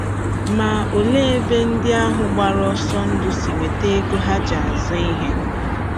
Ma olee ebe ndị ahụ gbara ọsọ ndụ si enweta ego ha ji azụ ihe?